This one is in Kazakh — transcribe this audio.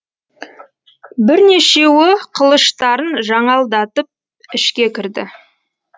бірнешеуі қылыштарын жаңалдатып ішке кірді